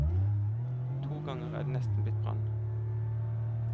To ganger er det nesten blitt brann.